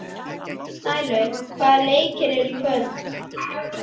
Snælaug, hvaða leikir eru í kvöld?